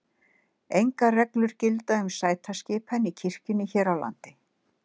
Engar reglur gilda um sætaskipan í kirkjum hér á landi.